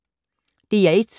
DR1